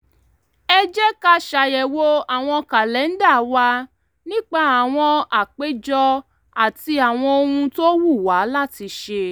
ẹ jẹ́ ká ṣàyẹ̀wò àwọn kàlẹ́ńdà wa nípa àwọn àpéjọ àti àwọn ohun tó wù wá láti ṣe